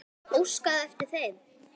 Óskaði eftir þeim?